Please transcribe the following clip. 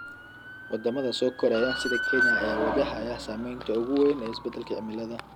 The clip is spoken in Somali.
Wadamada soo koraya sida Kenya ayaa wajahaya saameynta ugu weyn ee isbedelka cimilada.